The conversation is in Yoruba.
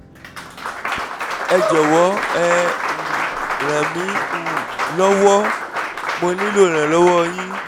ẹ jọ̀wọ́ ẹ um ràn mí um lọ́wọ́; mo nílò ìrànlọ́wọ́ yín